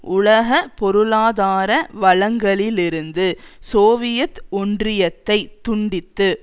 உலக பொருளாதார வளங்களிலிருந்து சோவியத் ஒன்றியத்தைத் துண்டித்து